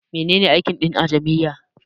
Mene ne aikin Din a jami'a?